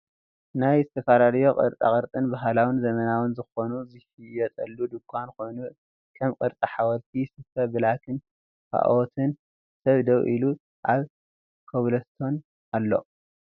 ናይ ዝተፈላለዩ ቅርፃ ቅር' ባህላዊን ዘመናዊን ዘኮኑ ዝሽየጠሉ ድካን ኮይኑ ከም ቅርፂ ሓወልቲ ስፈ ብላካን ካኦትን ሰብ ደው ኢሉ ኣብ ኮብልስቶን ኣሎ።